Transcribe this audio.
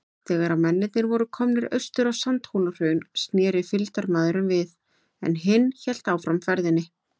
Þegar mennirnir voru komnir austur á Sandhólahraun, sneri fylgdarmaðurinn við, en hinn hélt áfram ferðinni.